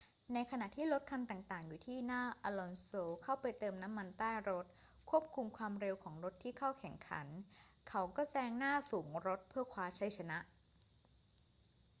ในขณะที่รถคันต่าง ๆ ที่อยู่หน้าอลอนโซเข้าไปเติมน้ำมันใต้รถควบคุมความเร็วของรถที่เข้าแข่งขัน เขาก็แซงหน้าฝูงรถเพื่อคว้าชัยชนะ